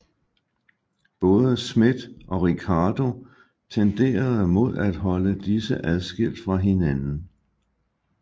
Både Smith og Ricardo tenderede mod at holde disse adskilt fra hinanden